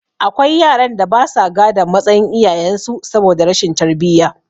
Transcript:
Akwai yaran da basa gadon matsayin iyayen su saboda rashin tarbiyya